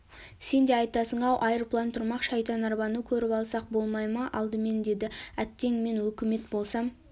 сен де айтасың-ау айырплан тұрмақ шайтанарбаны көріп алсақ болмай ма алдымен деді әттең мен өкімет болсам